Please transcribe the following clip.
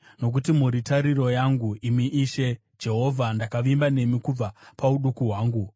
Nokuti muri tariro yangu, imi Ishe Jehovha, ndakavimba nemi kubva pauduku hwangu.